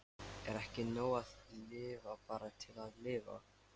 Er ekki nóg að lifa bara til að lifa?